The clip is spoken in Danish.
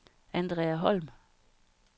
Andrea Holm